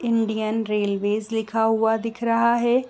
Indian railways दिखाई दे रहा है।